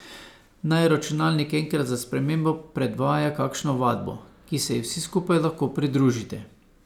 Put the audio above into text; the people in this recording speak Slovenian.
Naj računalnik enkrat za spremembo predvaja kakšno vadbo, ki se ji vsi skupaj lahko pridružite.